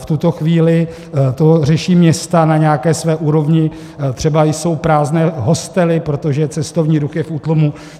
V tuto chvíli to řeší města na nějaké své úrovni, třeba jsou prázdné hostely, protože cestovní ruch je v útlumu.